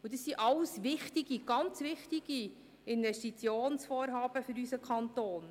Dies sind alles sehr, sehr wichtige Investitionsvorhaben für unseren Kanton.